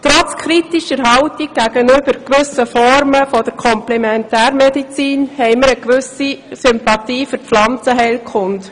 Trotz kritischer Haltung gegenüber gewissen Formen der Komplementärmedizin hegen wir eine gewisse Sympathie für die Pflanzenheilkunde.